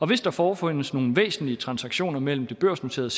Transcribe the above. hvis der forefindes nogle væsentlige transaktioner mellem det børsnoterede